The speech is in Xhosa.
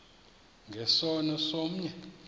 nge sono somnye